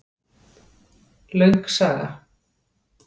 Löng saga